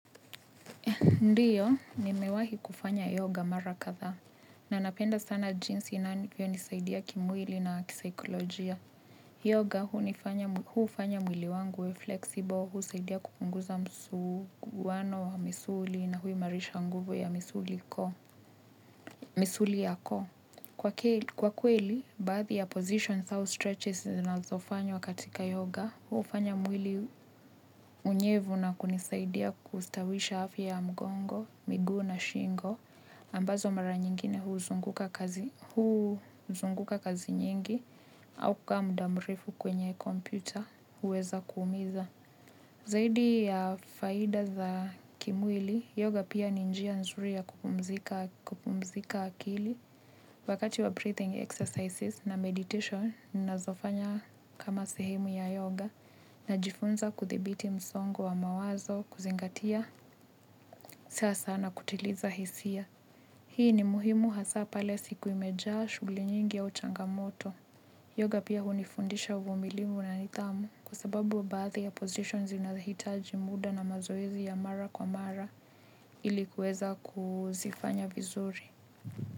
Ndio, nimewahi kufanya yoga mara kadhaa. Na ninapenda sana jinsi inavyo nisaidia kimwili na kisikolojia. Yoga huufanya mwili wangu uwe flexible, husaidia kupunguza msuguano wa misuli na hui marisha nguvu ya misuli ya koo. Kwa kweli, baadhi ya positions, au stretches zinazofanywa katika yoga, hufanya mwili unyevu na kunisaidia kustawisha afya ya mgongo, miguu na shingo, ambazo mara nyingine huu zunguka kazi nyingi au kuaa muda mrefu kwenye kompyuta huweza kuumiza. Zaidi ya faida za kimwili, yoga pia ni njia nzuri ya kupumzika akili wakati wa breathing exercises na meditation ninazo fanya kama sihemu ya yoga najifunza kudhibiti msongo wa mawazo kuzingatia tasa na kutiliza hisia. Hii ni muhimu hasa pale siku imejaa shuli nyingi ya changamoto. Yoga pia hunifundisha uvumilimu na nidhamu. Kwasababu wa baadhi ya positions zinahitaji muda na mazoezi ya mara kwa mara. Ili kuweza kuzifanya vizuri.